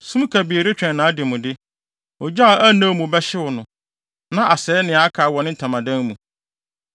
sum kabii retwɛn nʼademude. Ogya a ɛnnɛw mu bɛhyew no, na asɛe nea aka wɔ ne ntamadan mu.